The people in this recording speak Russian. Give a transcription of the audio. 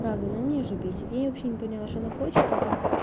правда она меня уже бесит я вообще не поняла что она хочет это